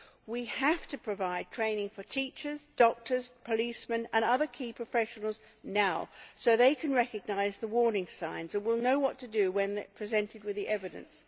We have to provide training for teachers, doctors, policemen and other key professionals now, so that they can recognise the warning signs and will know what to do when presented with the evidence.